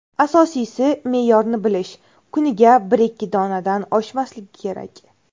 Asosiysi, me’yorni bilish: kuniga bir-ikki donadan oshmasligi kerak.